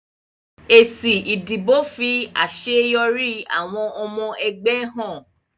Èsì ìdìbò fi àṣeyọrí àwọn ọmọ ẹgbẹ́ ẹgbẹ́ hàn.